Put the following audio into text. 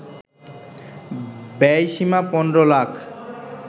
ব্যয়সীমা ১৫ lakh